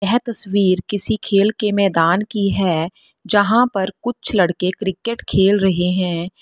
यह तस्वीर किसी खेल के मैदान की है जहां पर कुछ लड़के क्रिकेट खेल रहे हैं।